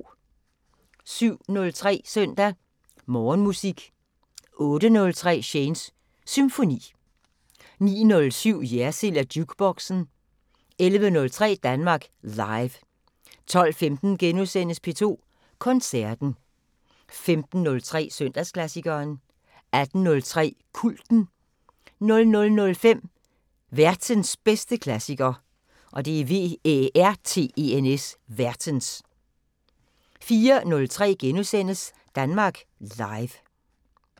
07:03: Søndag Morgenmusik 08:03: Shanes Symfoni 09:07: Jersild & Jukeboxen 11:03: Danmark Live 12:15: P2 Koncerten * 15:03: Søndagsklassikeren 18:03: Kulten 00:05: Værtens bedste klassiker 04:03: Danmark Live *